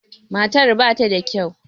Matar ba ta da kyau.